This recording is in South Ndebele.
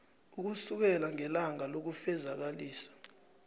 ukusukela ngelanga lokufezakalisa